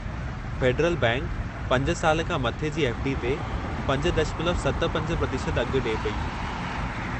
Federal बैंकि 5 साल खां मथे जी एफ़. डी. ते 5.75% अघु ॾिए पेई।